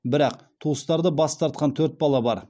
бірақ туыстарды бас тартқан төрт бала бар